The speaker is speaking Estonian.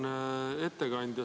Auväärne ettekandja!